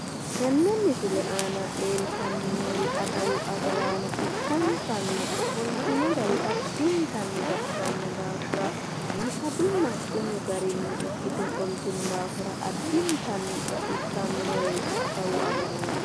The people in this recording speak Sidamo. Tenne misile aana leeltanni noori adawu agaraano ikkansanni ofoltino gari addintanni baxisanno daafira biifadunna xumu garinni ikkite ofoltino daafira addintanni baxissannoreeti adawu agaraano.